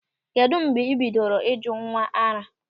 Kedụ mgbe ị bidoro ịjụ nwa ara?